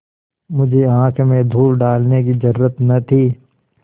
मुझे आँख में धूल डालने की जरुरत न थी